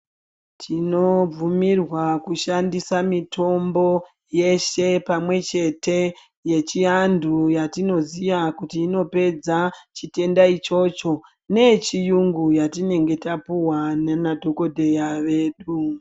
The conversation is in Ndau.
Tinobvumirwa kushandisa mitombo yeshe pamwechete yechiantu yatinoziya kuti inopedza chitenda ichocho neyechiyungu yatinenge tapihwa nana dhokodheya vedu.